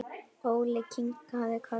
Óli kinkaði kolli.